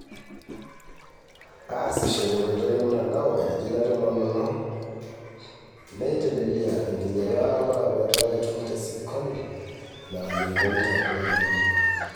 Aasisho tenkoitoi olmutandao, etejo ina tomonono, neitelelia enkinyang'a olparakuo etaa ketum tesikinoto ina nayieu etonita toolorikan lenye.